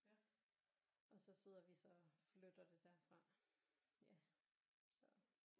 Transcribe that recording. Og så sidder vi så og flytter det derfra ja så